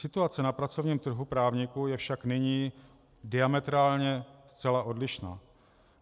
Situace na pracovním trhu právníků je však nyní diametrálně zcela odlišná.